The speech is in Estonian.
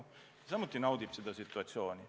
Ja tema samuti naudib oma situatsiooni.